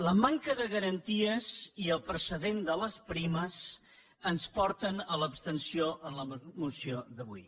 la manca de garanties i el precedent de les primes ens porten a l’abstenció en la moció d’avui